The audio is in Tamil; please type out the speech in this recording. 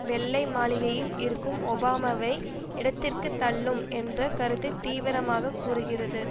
வெள்ளை மாளிகையில் இருக்கும் ஒபாமாவை இடதிற்குத் தள்ளும் என்ற கருத்தை தீவிரமாக கூறுகிறது